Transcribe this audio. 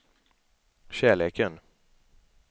kärleken